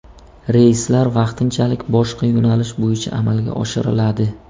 Reyslar vaqtinchalik boshqa yo‘nalish bo‘yicha amalga oshiriladi.